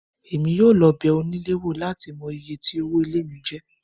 Èmi yóò lọ bẹ onílé wò láti mọ iye tí owó ilé mi jẹ́